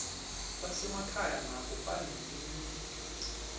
basemakhaya nabo banelilungelo